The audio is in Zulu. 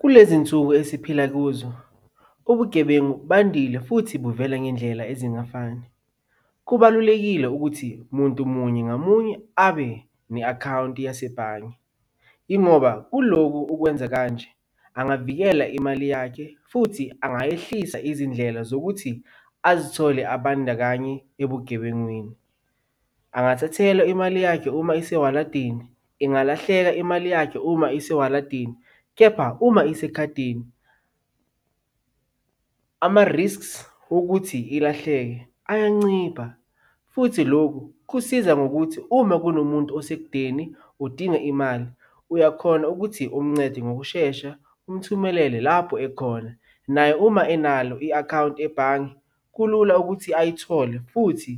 Kulezi nsuku esiphila kuzo, ubugebengu bandile futhi buvela ngendlela ezingafani. Kubalulekile ukuthi muntu munye ngamunye abe ne-akhawunti yasebhange. Yingoba kulokhu ukwenza kanje angavikela imali yakhe futhi angayehlisa izindlela zokuthi azithole abandakanye ebugebengwini. Angathathelwa imali yakhe uma isewaladini, ingalahleka imali yakhe uma isewaladini, kepha uma isekhadini, ama-risks wokuthi ilahleke ayancipha futhi lokhu kusiza ngokuthi uma kunomuntu osekudeni udinga imali, uyakhona ukuthi umncede ngokushesha umthumelele lapho ekhona. Naye uma enalo i-akhawunti ebhange kulula ukuthi ayithole futhi